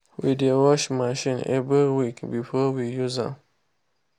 we dey wash machine every week before we use am.